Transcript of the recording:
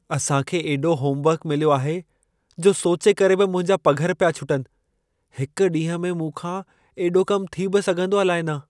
असां खे एॾो होमवर्कु मिलियो आहे, जो सोचे करे बि मुंहिंजा पघर पिया छुटनि। हिक ॾींह में मूं खां एॾो कमु थी बि सघंदो अलाइ न।